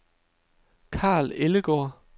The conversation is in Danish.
Karl Ellegaard